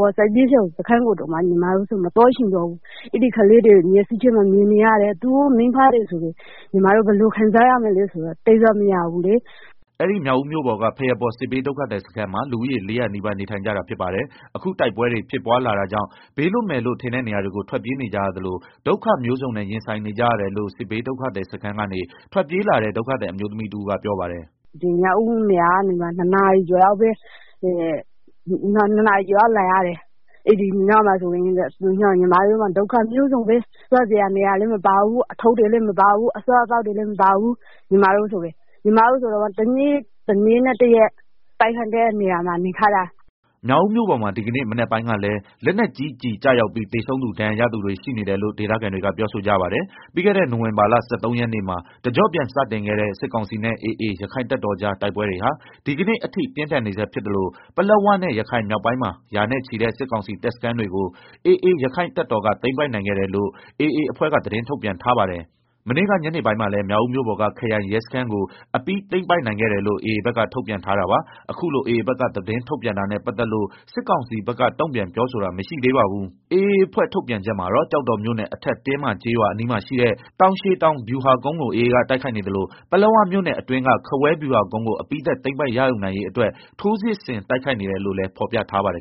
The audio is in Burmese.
ပေါ်စစ်ဘေးရှောင်စခန်း ကိုတောင် မသွားချင်တော့ဘူး၊ ကလေးတွေကို မျက်လုံးထဲမှာ မြင်နေရတယ်။ သူတို့ မိဘတွေ ဘယ်လောက်ခံစားရမလဲဆိုတာ စဉ်းစားလို့မရဘူး” အဲဒီမြောက်ဦးမြို့ပေါ်က ဘုရားပေါ်စစ်ဘေးဒုက္ခသည် စခန်းမှာ လူဦးရေ ၄ဝဝ နီးပါး နေထိုင်ကြတာဖြစ်ပါတယ်။ အခု တိုက်ပွဲတွေ ဖြစ်ပွါးလာတာကြောင့် ဘေးလွတ်မယ်လို့ ထင်တဲ့နေရာတွေကို ထွက်ပြေး နေကြရသလို ဒုက္ခမျိုးစုံနဲ့ ရင်ဆိုင် နေကြရတယ်လို့ စစ်ဘေးဒုက္ခသည် စခန်းကနေ ထွက်ပြေးလာတဲ့ ဒုက္ခသည် အမျိုးသမီးတဦးက ပြော ပါတယ်။ “ မြောက်ဦးကနေ ၂ နာရီ ကျော်လောက် လာရတယ်၊ ညီမတို့မှာ ဒုက္ခမျိုးစုံပဲ၊ စားစရာလည်း မပါဘူး။ အထုပ်တွေလည်း မပါဘူး၊ အစားအသောက်တွေလည်းမပါဘူး၊ ညမတို့ တရက်နဲ့ တည အဲဒီ တိုက်ပွဲကြားမှာ နေခဲ့ရတာ။” မြောက်ဦးမြို့ပေါ်မှာ ဒီကနေ့ မနက်ပိုင်းကလည်း လက်နက်ကြီးကျည် ကျရောက်ပြီး သေဆုံးသူ ဒဏ်ရာရသူတွေ ရှိနေတယ်လို့ ဒေသခံတွေက ပြောဆိုကြပါတယ်။ ပြီးခဲ့တဲ့ နိုင်ဝင်ဘာလ ၁၃ ရက်နေ့မှာ တကျော့ပြန် စတင်ခဲ့တဲ့ စစ်ကောင်စီနဲ့ AA ရက္ခိုင့်တပ်တော်ကြား တိုက်ပွဲတွေဟာ ဒီကနေ့ အထိ ပြင်းထန်နေဆဲ ဖြစ်သလို ပလက်ဝနဲ့ ရခိုင်မြောက်ပိုင်းမှာ ရာနဲ့ချီတဲ့ စစ်ကောင်စီ တပ်စခန်းတွေကို AA ရက္ခိုင့်တပ်တော်က သိမ်းပိုက်နိုင်ခဲ့တယ်လို့ AA အဖွဲ့က သတင်း ထုတ်ပြန်ထားပါတယ်။ မနေ့က ညနေပိုင်းကလည်း မြောက်ဦးမြို့ပေါ်က ခရိုင်ရဲစခန်း ကို အပြီးပိုင်သိမ်းပိုက်နိုင်ခဲ့တယ်လို့ AA ဘက်က ထုတ်ပြန် ထားတာပါ။ အခုလို AA ဘက်က သတင်းထုတ်ပြန်တာနဲ့ ပတ်သက်လို့ စစ်ကောင်စီဘက်က တုန့်ပြန်ပြောဆိုတာ မရှိသေးပါဘူး AA အဖွဲ့ ထုတ်ပြန် ချက်မှာတော့ ကျောက်တော်မြို့နယ် အထက်တင်းမကျေးရွာ အနီးမှာရှိတဲ့ တောင်ရှည်တောင် ဗျူဟာကုန်းကို AA က တိုက်ခိုက်နေသလို ပလက်ဝမြို့နယ် အတွင်းက ခဝဲဗျူဟာကုန်းကို အပြီးသတ် သိမ်းပိုက်ရယူနိုင်ရေး အတွက် ထိုးစစ်ဆင် တိုက်ခိုက်နေတယ်လို့ လည်း ဖော်ပြထားပါတယ်